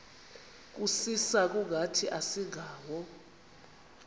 kusisa kungathi asingawo